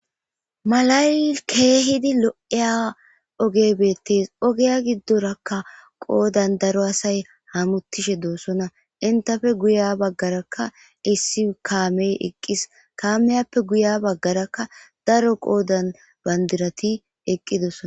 Malayi kehidi lo'iya oggeyi bettes oggiya giddoraka qodan daro asayi hamuttishe doosona enttappe guyiya bagaraka issi kammeyi eqqis kamiyappe guyiya baggaraka daro qodan bandirati eqqidosona.